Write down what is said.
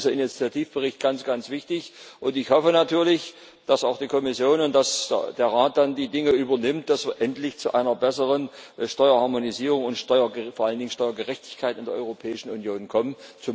Deshalb ist dieser Initiativbericht ganz wichtig und ich hoffe natürlich, dass auch die Kommission und dann der Rat die Dinge übernehmen, dass wir endlich zu einer besseren Steuerharmonisierung und vor allen Dingen Steuergerechtigkeit in der Europäischen Union kommen.